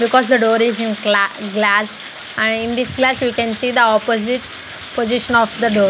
because the door is in cla glass ah in this glass we can see the opposite position of the door.